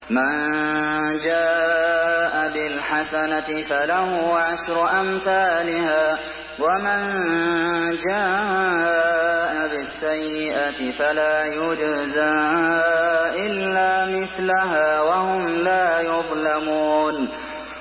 مَن جَاءَ بِالْحَسَنَةِ فَلَهُ عَشْرُ أَمْثَالِهَا ۖ وَمَن جَاءَ بِالسَّيِّئَةِ فَلَا يُجْزَىٰ إِلَّا مِثْلَهَا وَهُمْ لَا يُظْلَمُونَ